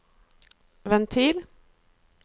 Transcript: ventil